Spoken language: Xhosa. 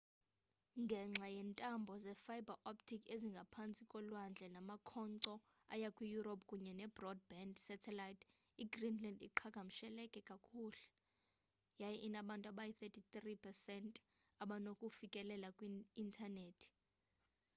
ngenxa yeentambo ze-fiber optic ezingaphantsi kolwandle namakhonkco aya kwi europe kunye ne-broadband satellite igreenland iqhagamshelekee kakuhle yaye inabantu abayi-93% abanokufikelela kwi intanethi